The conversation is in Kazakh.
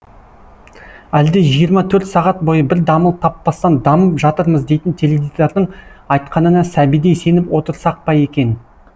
әлде жиырма төрт сағат бойы бір дамыл таппастан дамып жатырмыз дейтін теледидардың айтқанына сәбидей сеніп отырсақ па екен